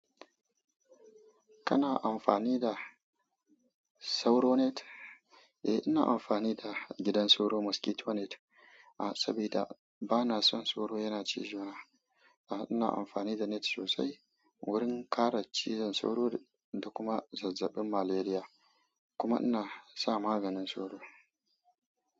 Kana amfani da sauro net? Eh, ina amfani da gidan sauro mosquito net. A, saboda bana son sauro yana ci zona. A'a ina amfani da net sosai wurin kare cizon sauro da kuma zazzabin malaria. Kuma ina sa maganin sauro.